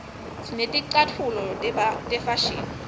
sineticatfulo tefashini